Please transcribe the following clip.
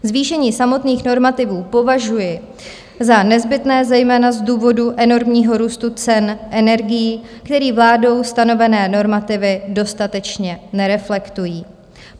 Zvýšení samotných normativů považuji za nezbytné zejména z důvodu enormního růstu cen energií, který vládou stanovené normativy dostatečně nereflektují.